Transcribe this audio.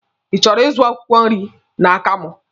Ị chọrọ ịzụ akwụkwọ nri n'aka m?